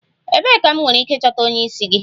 Ebee ka m nwere ike ịchọta onye isi gị?